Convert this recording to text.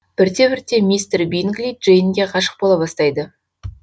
бірте бірте мистер бингли джейнге ғашық бола бастайды